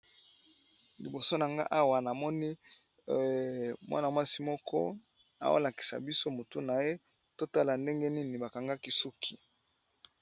Liboso na nga awa namoni mwana mwasi moko aolakisa biso motu na ye to tala ndenge nini bakangaki ye suki.